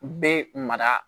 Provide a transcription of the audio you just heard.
U bɛ mara